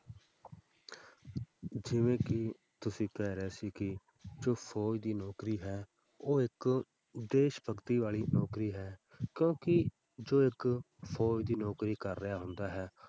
ਜਿਵੇਂ ਕਿ ਤੁਸੀਂ ਕਹਿ ਰਹੇ ਸੀ ਕਿ ਫ਼ੌਜ ਦੀ ਨੌਕਰੀ ਹੈ ਉਹ ਇੱਕ ਦੇਸ ਭਗਤੀ ਵਾਲੀ ਨੌਕਰੀ ਹੈ ਕਿਉਂਕਿ ਜੋ ਇੱਕ ਫ਼ੌਜ ਦੀ ਨੌਕਰੀ ਕਰ ਰਿਹਾ ਹੁੰਦਾ ਹੈ,